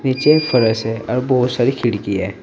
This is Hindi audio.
नीचे फर्श है और बहुत सारी खिड़की है।